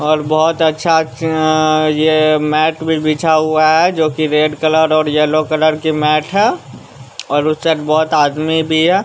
और बहुत अच्छा अ यह मैट भी बिछा हुआ है जो कि रेड कलर और येलो कलर की मैट है और उससे बहुत आदमी भी है।